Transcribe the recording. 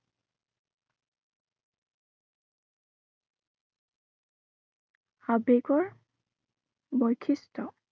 আবেগৰ বৈশিষ্ট্য়